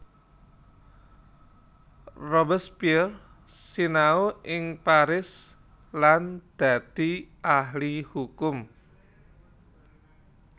Robespierre sinau ing Paris lan dadi ahli hukum